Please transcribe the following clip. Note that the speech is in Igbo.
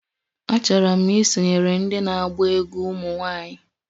Achọrọ m isonyere ndị na-agba egwú ụmụ nwanyị